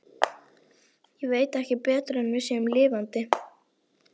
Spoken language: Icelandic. Ég veit ekki betur en við séum lifandi.